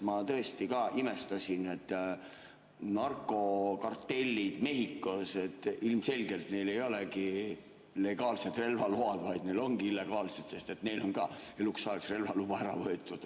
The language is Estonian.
Ma tõesti ka imestasin, et narkokartellidel Mehhikos ilmselgelt ei olegi legaalsed relvaload, vaid neil ongi illegaalsed, sest neilt on eluks ajaks relvaluba ära võetud.